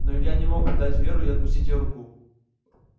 но илья не мог предать веру и отпустить её руку